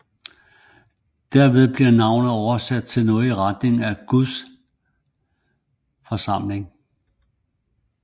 Derved bliver navnet oversat noget i retning af Guds forsamling